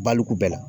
Baliku bɛɛ la